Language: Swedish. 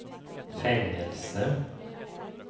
fängelse